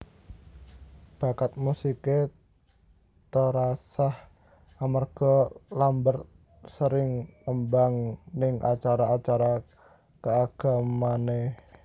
Bakat musiké terasah amarga Lambert sering nembang ning acara acara kaagamaanné